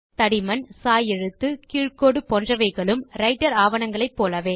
தடிமன் சாய் எழுத்து கீழ் கோடு போன்றவைகளும் ரைட்டர் ஆவணங்களைப் போலவே